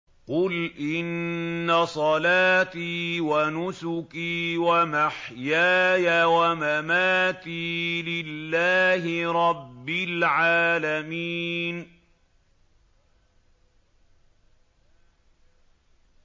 قُلْ إِنَّ صَلَاتِي وَنُسُكِي وَمَحْيَايَ وَمَمَاتِي لِلَّهِ رَبِّ الْعَالَمِينَ